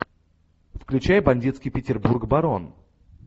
включай бандитский петербург барон